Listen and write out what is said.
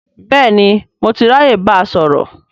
Bẹ́ẹ̀ni, mo ti ráyè báa sọ̀rọ̀